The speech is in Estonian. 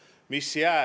Taavi Rõivas, palun!